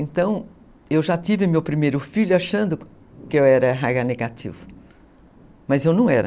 Então, eu já tive meu primeiro filho achando que eu era negativo, mas eu não era.